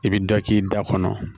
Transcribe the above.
I bɛ dɔ k'i da kɔnɔ